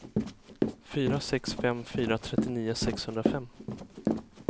fyra sex fem fyra trettionio sexhundrafem